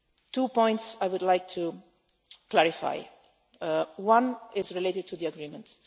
Two points I would like to clarify one is related to the agreement.